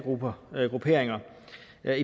er